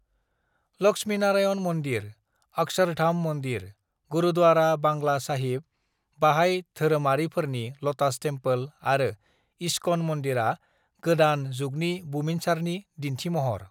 "लक्ष्मीनारायण मन्दिर, अक्षरधाम मन्दिर, गुरुद्वारा बांग्ला साहिब, बाहाइ धोरोमारिफोरनि ल'टास टेम्पोल आरो इस्कन मन्दिरा गोदान जुगनि बुमिनसारनि दिन्थिमहर।"